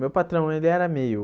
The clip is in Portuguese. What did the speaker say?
Meu patrão ele era meio...